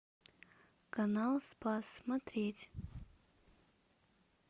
канал спас смотреть